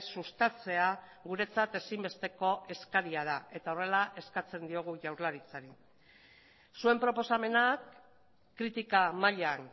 sustatzea guretzat ezinbesteko eskaria da eta horrela eskatzen diogu jaurlaritzari zuen proposamenak kritika mailan